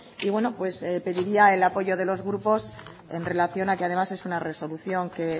y bueno pues pediría el apoyo de los grupos en relación a que además es una resolución que